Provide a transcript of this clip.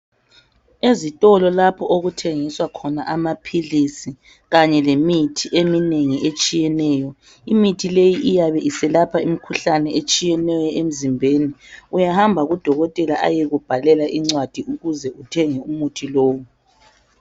Ezitolo lapho okuthengiswa khona amaphilisi kanye lemithi eminengi etshiyeneyo. Imithi leyi iyabe iselapha imikhuhlane eminengi etshiyeneyo emzimbeni. Uyahamba kudokotela ayekubhalela incwadi ukuze uthenge umuthi lowu.